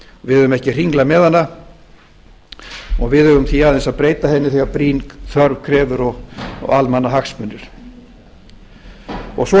við eigum ekki að hringla með hana við eigum aðeins að breyta henni þegar brýn þörf krefur og almannahagsmunir svo er